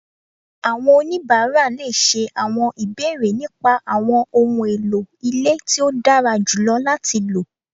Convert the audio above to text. Àwọn onibara le ṣé àwọn ìbéèrè nípa àwọn ohùn èlò ilé tí o dára jùlọ láti ló